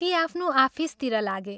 ती आफ्नो आफिसतिर लागे।